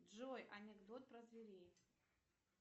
джой анекдот про зверей